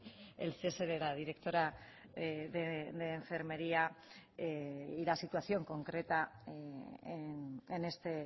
el cese de la directora de enfermería y la situación concreta en este